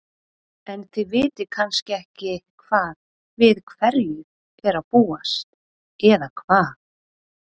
En þið vitið kannski ekki hvað, við hverju er að búast eða hvað?